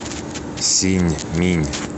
синьминь